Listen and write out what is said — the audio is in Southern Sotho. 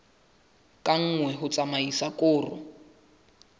ka nngwe ho tsamaisa koro